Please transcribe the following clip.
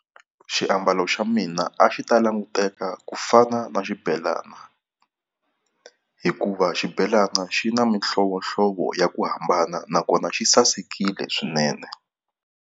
Xiambalo xa mina a xi ta languteka ku fana na xibelana, hikuva xibelana xi na mihlovohlovo ya ku hambana nakona xi sasekile swinene.